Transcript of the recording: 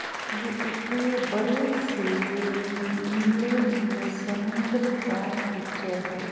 ये एक बड़े से नीले-नीले समुद्र का पिक्चर है।